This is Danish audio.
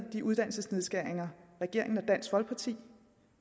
de uddannelsesnedskæringer regeringen og dansk folkeparti